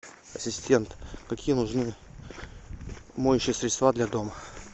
ассистент какие нужны моющие средства для дома